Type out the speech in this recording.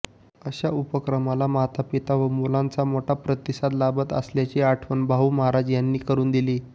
अशा उपक्रमाला मातापिता व मुलांचा मोठा प्रतिसाद लाभत असल्याची आठवण भाऊ महाराज यानी करून दिली